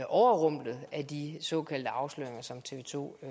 overrumplet af de såkaldte afsløringer som tv to